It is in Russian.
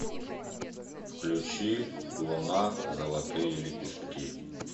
включи луна золотые лепестки